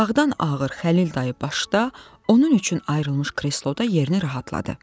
Dağdan ağır Xəlil dayı başda onun üçün ayrılmış kresloda yerini rahatladı.